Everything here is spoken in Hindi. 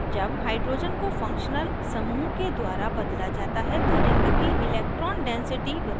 जब hydrogen को functional समूह के द्वारा बदला जाता है तो ring की electron density बदलती है